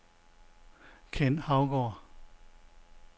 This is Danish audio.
Ken Haugaard